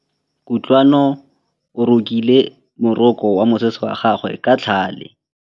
Kutlwanô o rokile morokô wa mosese wa gagwe ka tlhale.